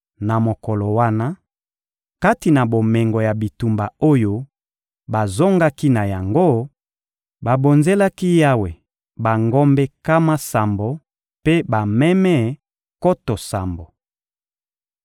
Na mokolo wana, kati na bomengo ya bitumba oyo bazongaki na yango, babonzelaki Yawe bangombe nkama sambo mpe bameme nkoto sambo.